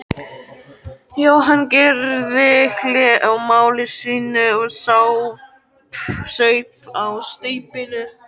Jóhann gerði hlé á máli sínu og saup á staupinu.